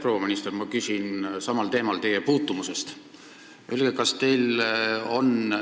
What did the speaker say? Proua minister, ma küsin teie käest samuti teie ministeeriumi puutumuse kohta.